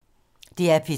DR P3